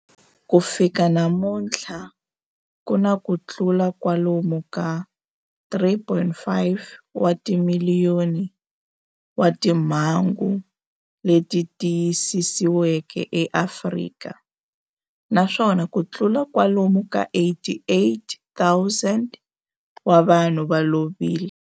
Ku fika namuntlha ku na kutlula kwalomu ka 3.5 wa timiliyoni wa timhangu leti tiyisisiweke eAfrika, naswona kutlula kwalomu ka 88,000 wa vanhu va lovile.